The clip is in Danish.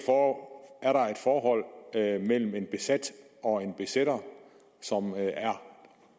er et forhold mellem en besat og en besætter som